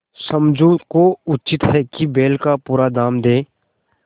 समझू को उचित है कि बैल का पूरा दाम दें